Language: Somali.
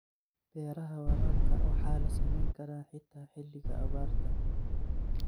Beeraha waraabka waxaa la samayn karaa xitaa xilliga abaarta.